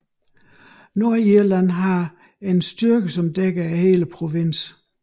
Nordirland har en styrke som dækker hele provinsen